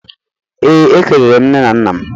Ee, ekelere m nne na nna m